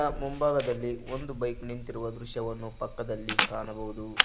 ಮುಂಭಾಗದಲ್ಲಿ ಒಂದು ಬೈಕ್ ನಿಂತಿರುವ ದೃಶ್ಯವನ್ನು ಪಕ್ಕದಲ್ಲಿ ಕಾಣಬಹುದು.